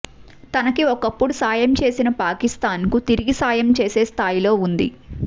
తనకి ఒకప్పుడు సాయం చేసిన పాకిస్థాన్కు తిరిగి సాయం చేసే స్థాయిలో ఉంది